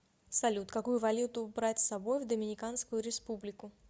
салют какую валюту брать с собой в доминиканскую республику